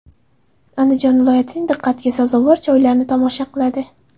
Andijon viloyatining diqqatga sazovor joylarini tomosha qiladi.